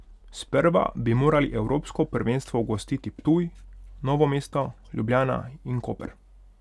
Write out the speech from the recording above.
Sprva bi morali evropsko prvenstvo gostiti Ptuj, Novo mesto, Ljubljana in Koper.